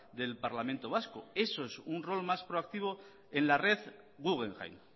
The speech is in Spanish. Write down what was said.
del parlamento vasco eso es un rol más proactivo en la red guggenheim